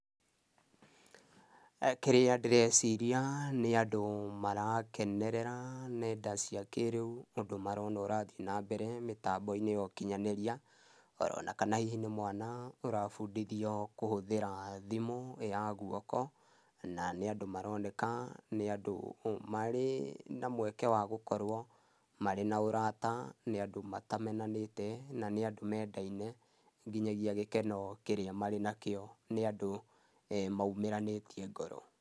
Kĩrĩa ndĩreciria nĩ andũ marakenerera nenda cia kĩĩrĩu, ũndũ marona ũrathiĩ na mbere mĩtambo-inĩ ya ũkinyanĩria oro kana hihi nĩ mwana ũrabundithio kũhũthĩra thimũ ya gũoko. Na nĩ andũ maroneka nĩ andũ marĩ na mweke wa gũkorWo marĩ na ũrata, nĩ andũ matamenanĩte, na nĩ andũ mendaine nginyagia gĩkeno kĩrĩa marĩ nakĩo nĩ andũ maumĩranĩtie ngoro.